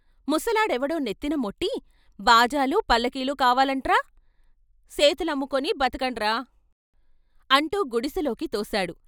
ముసలాడెవడో నెత్తిన మొట్టి 'బాజాలు పల్లకీలు కావాలంట్రా సేతులమ్ముకుని బతకండ్రా' అంటూ గుడిసెలోకి తోశాడు.